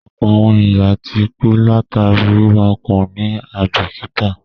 Ọ̀pọ̀ àwọn èèyàn ti kú látàríi wíwa ọkọ̀ ní àíbìkítà